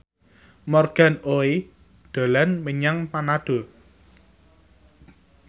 Morgan Oey dolan menyang Manado